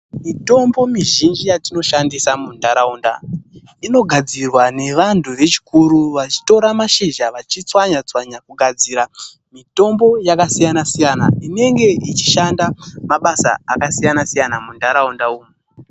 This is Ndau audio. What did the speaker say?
Mitombo mizhinji yatinoshandisa muntaraunda inogadzirwa nevantu vechikuru vachitora mashizha vachitswanya tswanya kugadzira mitombo yakasiyana siyana inenge ichishanda mabasa akasiyana siyana muntaraunda umu.